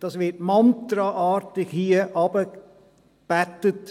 Dies wird hier mantraartig heruntergebeten: